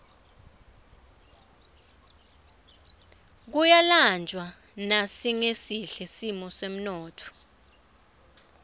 kuyalanjwa nasingesihle simo semnotfo